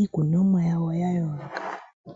iikunomwa yawo ya yooloka.